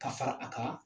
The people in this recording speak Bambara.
Ka fara a kan